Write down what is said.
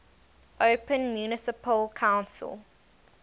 open municipal council